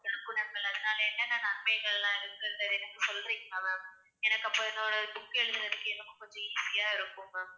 நற்குணங்கள் அதனால என்னென்ன நன்மைகள் எல்லாம் இருக்குன்றதை எனக்கு சொல்றீங்களா ma'am எனக்கு அப்போ என்னோட book எழுதுறதுக்கு எனக்கு கொஞ்சம் easy ஆ இருக்கும் ma'am